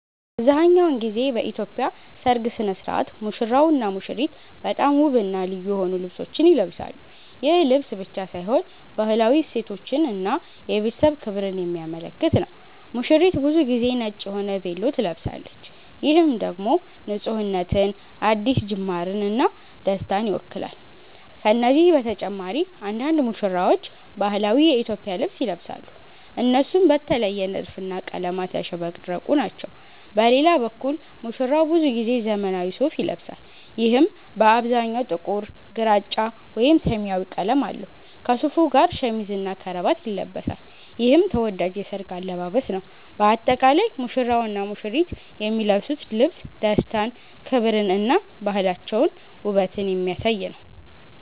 አብዛሀኛውን ጊዜ በኢትዮጵያ ሠርግ ሥነ ሥርዓት ሙሽራውና ሙሽሪት በጣም ውብና ልዩ የሆኑ ልብሶችን ይለብሳሉ። ይህ ልብስ ብቻ ሳይሆን ባህላዊ እሴቶችን እና የቤተሰብ ክብርን የሚያመለክት ነው። ሙሽሪት ብዙ ጊዜ ነጭ የሆነ ቬሎ ትለብሳለች፣ ይህም ደግሞ ንፁህነትን፣ አዲስ ጅማርን እና ደስታን ይወክላል። ከነዚህ በተጨማሪ አንዳንድ ሙሽራዎች ባህላዊ የኢትዮጵያ ልብስ ይለብሳሉ፣ እነሱም በተለየ ንድፍና ቀለማት ያሸበረቁ ናቸው። በሌላ በኩል ሙሽራው ብዙ ጊዜ ዘመናዊ ሱፋ ይለብሳል፣ ይህም በአብዛኛው ጥቁር፣ ግራጫ ወይም ሰማያዊ ቀለም አለው። ከሱፉ ጋር ሸሚዝና ከረባት ይለብሳል፣ ይህም ተወዳጅ የሠርግ አለባበስ ነው። በአጠቃላይ ሙሽራውና ሙሽሪት የሚለብሱት ልብስ ደስታን፣ ክብርን እና ባህላቸውንና ውበትን የሚያሳይ ነው።